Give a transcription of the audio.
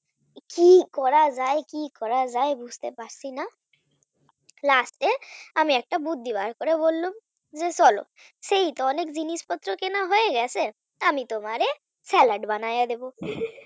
কি করা যায় কি করা যায় বুঝতে পারছি না last এ আমি একটা বুদ্ধি বার করে বললুম যে চলো সেই তো অনেক জিনিসপত্র কেনা হয়ে গেছে আমি তোমারে salad বানায়ে দেব হিহি